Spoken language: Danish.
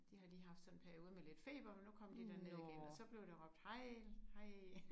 De har lige haft sådan en periode med lidt feber men nu kom de derned igen og så blev der råbt hej hej